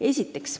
Esiteks.